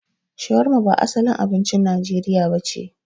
Shawarma ba asalin abincin Najeriya nace.